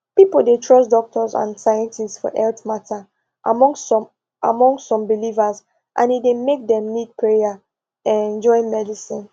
people dey trust doctors and scientists for health matter among some among some believers and e dey make dem need prayer um join medicine